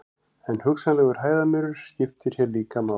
en hugsanlegur hæðarmunur skiptir hér líka máli